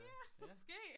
Ja måske